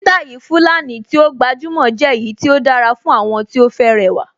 Sítáì Fulani tí ó gbajúmọ̀ jẹ́ èyí tí ó dára fún àwọn tí ó fẹ́ rẹwà